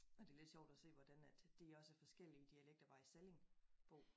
Og det lidt sjovt at se hvordan at de også er forskellige dialekter bare i sallingbo